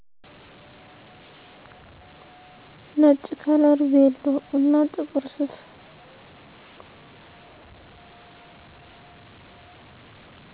ነጭ ከለር ቬሎ እና ጥቁር ሱፍ።